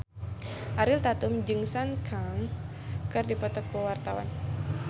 Ariel Tatum jeung Sun Kang keur dipoto ku wartawan